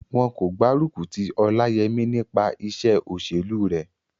Wọn kò gbárùkù ti Ọláyẹmí nípa iṣẹ́ òṣèlú rẹ̀